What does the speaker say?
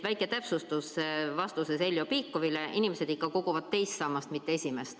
Väike täpsustus vastuseks Heljo Pikhofile: inimesed koguvad raha ikka teise sambasse, mitte esimesse.